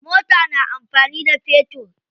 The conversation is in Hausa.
Mota na amfani da fetur.